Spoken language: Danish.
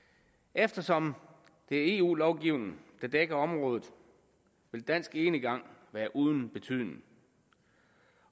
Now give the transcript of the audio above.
eftersom det er eu lovgivning der dækker området vil dansk enegang være uden betydning